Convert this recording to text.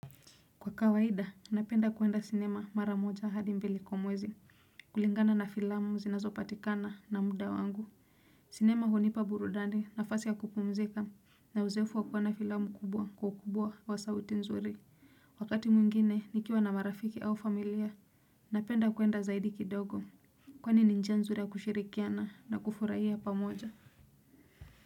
Kwa kawaida, napenda kuenda sinema mara moja hadi mbili kwa mwezi. Kulingana na filamu zinazopatikana na muda wangu. Sinema hunipa burudani nafasi ya kupumzika. Na uzoefu wa kuona filamu kubwa kwa ukubwa wa sauti nzuri. Wakati mwingine nikiwa na marafiki au familia, napenda kuenda zaidi kidogo. Kwa ni njia nzuri ya kushirikiana na kufurahia pamoja.